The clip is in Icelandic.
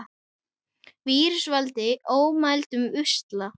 Vírusar valda ómældum usla.